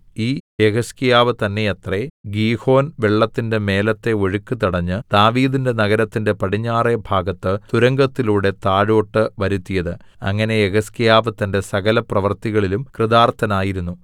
ഈ യെഹിസ്കീയാവ് തന്നെയത്രെ ഗീഹോൻ വെള്ളത്തിന്റെ മേലത്തെ ഒഴുക്ക് തടഞ്ഞ് ദാവീദിന്റെ നഗരത്തിന്റെ പടിഞ്ഞാറെ ഭാഗത്ത് തുരങ്കത്തിലൂടെ താഴോട്ട് വരുത്തിയത് അങ്ങനെ യെഹിസ്കീയാവ് തന്റെ സകലപ്രവർത്തികളിലും കൃതാർത്ഥനായിരുന്നു